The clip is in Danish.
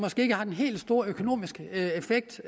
ikke har den helt store økonomiske effekt